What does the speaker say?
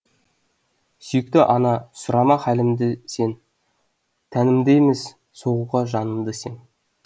сүйікті ана сұрама хәлімді сен тәнімді емес соғуға жанымды сең